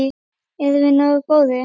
Erum við nógu góðir?